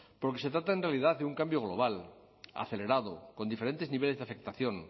porque se trata en realidad de un cambio global acelerado con diferentes niveles de afectación